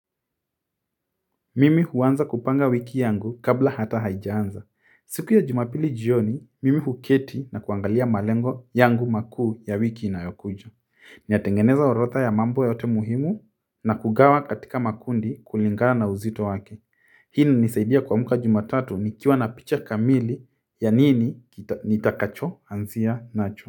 Mimi huanza kupanga wiki yangu kabla hata haijaanza. Siku ya jumapili jioni mimi huketi na kuangalia malengo yangu makuu ya wiki inayokuja. Ninatengeneza orodha ya mambo yote muhimu na kugawa katika makundi kulingana na uzito wake. Hii inanisaidia kuamka jumatatu nikiwa na picha kamili ya nini nitakacho anzia nacho.